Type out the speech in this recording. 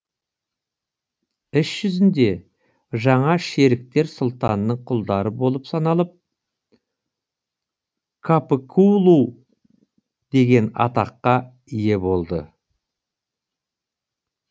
іс жүзінде жаңа шеріктер сұлтанның құлдары болып саналып капыкулу деген атаққа ие болды